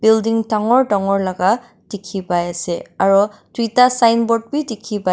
building dangor dangor laka dikhi pai ase aro duita sign board b dikhi pai--